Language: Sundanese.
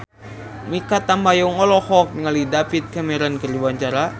Mikha Tambayong olohok ningali David Cameron keur diwawancara